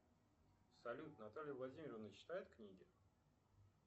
салют наталья владимировна читает книги